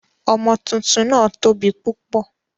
Ọmọ tuntun náà tóbi púpọ̀.